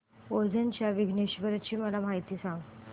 ओझर च्या विघ्नेश्वर ची महती मला सांग